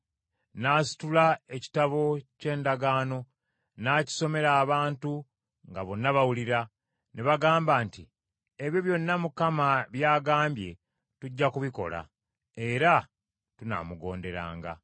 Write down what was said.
N’asitula Ekitabo ky’Endagaano, n’akisomera abantu nga bonna bawulira. Ne bagamba nti, “Ebyo byonna Mukama by’agambye tujja kubikola; era tunaamugonderanga.”